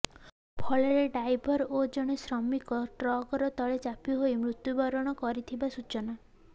ଫଳରେ ଡାଇଭର ଓ ଜଣେ ଶ୍ରମିକ ଟ୍ରାକ୍ଟର ତଲେ ଚାପି ହୋଇ ମୃତ୍ୟୁବରଣ କରିଥିବା ସୂଚନା